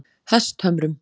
Hesthömrum